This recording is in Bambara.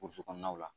Burusi kɔnɔnaw la